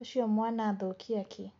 Ũcio mwana athũkia kĩ.